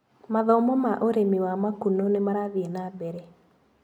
Mathomo ma ũrĩmi wa makunũ nĩmarathiĩ na mbere.